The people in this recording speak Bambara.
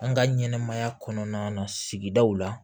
An ka ɲɛnɛmaya kɔnɔna sigidaw la